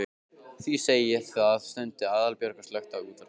Því segi ég það. stundi Aðalbjörg og slökkti á útvarpinu.